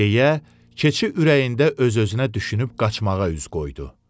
Deyə keçi ürəyində öz-özünə düşünüb qaçmağa üz qoydu.